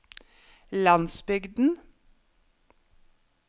landsbygden